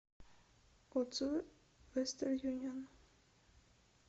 отзывы вестерн юнион